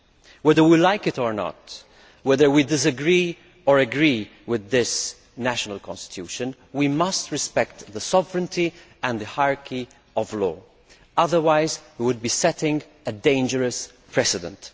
Whether we like it or not, whether we disagree or agree with this national constitution, we must respect the sovereignty and the hierarchy of law, otherwise we would be setting a dangerous precedent.